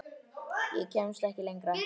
Ég kemst ekki lengra.